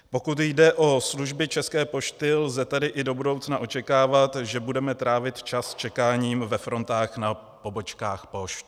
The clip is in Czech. Pokud jde o služby České pošty, lze tedy i do budoucna očekávat, že budeme trávit čas čekáním ve frontách na pobočkách pošt.